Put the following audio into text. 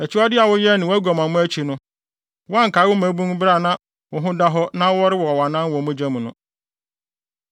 Akyiwade a woyɛɛ ne wʼaguamammɔ akyi no, woankae wo mmabun bere a na wo ho da hɔ na worewɔ wʼanan wɔ mogya mu no.